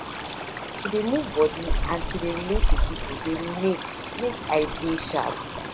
to dey move body and to dey relate with people dey make make i dey sharp